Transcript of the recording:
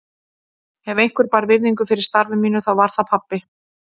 Ef einhver bar virðingu fyrir starfi mínu þá var það pabbi.